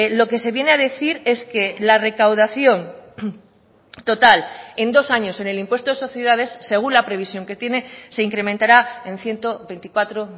lo que se viene a decir es que la recaudación total en dos años en el impuesto de sociedades según la previsión que tiene se incrementará en ciento veinticuatro